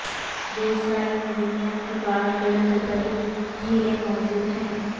دیوسائی میں دنیا کی بعض بلند ترین جھیلیں موجود ہیں